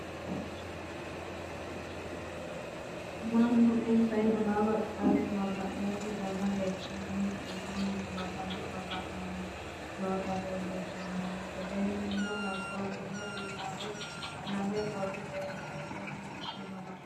Mannnu insa insawa xaade maganote dana leelishanni iimi Magano maga'nanni nootta leelishshank seennuno labbaluno lawe baxoommo tene Maga'note base wo'munku woyi togola ikke maga'na.